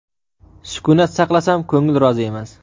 sukut saqlasam ko‘ngil rozi emas.